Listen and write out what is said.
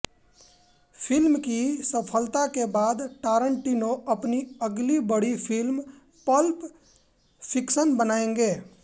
film की सफलता के बाद टारनटिनो अपनी अगली बड़ी फिल्म पल्प फिक्शन बनाएंगे